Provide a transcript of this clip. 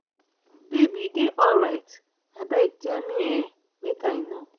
babe you dey alright? abeg tell me um make i know.